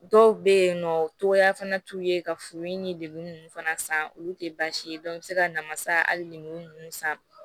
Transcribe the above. Dɔw bɛ yen nɔ togoya fana t'u ye ka furu in ni degun ninnu fana san olu tɛ baasi ye i bɛ se ka namasa hali ni san